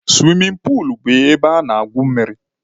Suwimin puulu bụ ebe a na-egwu mmiri.